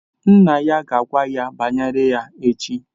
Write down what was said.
Nna ya ga-agwa ya banyere ya echi